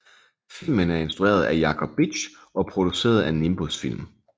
Filmen er instrueret af Jacob Bitsch og produceret af Nimbus Film